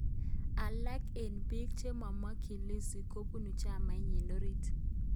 Alaak eng biik chemamakchin Lissu kobunu chamainyi orit